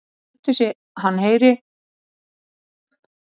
Hann lætur sem hann heyri ekki hótunina, veifar penslinum og hlær tröllahlátri.